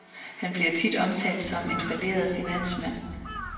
Han bliver tit omtalt som en falleret finansmand.